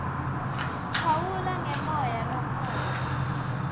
phawula ngemoya lokhona